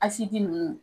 Asidi nunnu